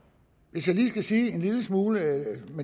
hvis jeg lige skal sige en lille smule